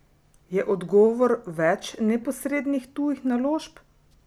Je odgovor več neposrednih tujih naložb?